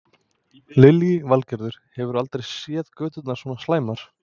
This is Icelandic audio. Lillý Valgerður: Hefurðu aldrei séð göturnar svona slæmar?